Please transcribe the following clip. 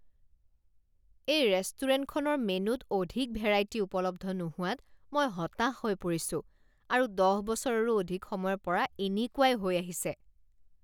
এই ৰেষ্টুৰেণ্টখনৰ মেনুত অধিক ভেৰাইটি উপলব্ধ নোহোৱাত মই হতাশ হৈ পৰিছোঁ আৰু দহ বছৰৰো অধিক সময়ৰ পৰা এনেকুৱাই হৈ আহিছে।